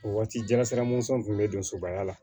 O waati jalasira mɔnsɔn kun be don sobaya la